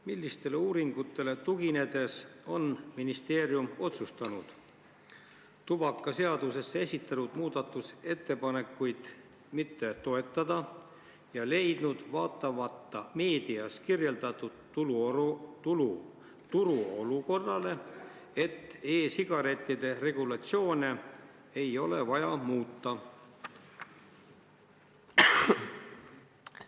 Millistele uuringutele tuginedes on ministeerium otsustanud tubakaseaduse kohta esitatud muudatusettepanekuid mitte toetada ja leidnud, vaatamata meedias kirjeldatud turuolukorrale, et e-sigarettide regulatsioone ei ole vaja muuta?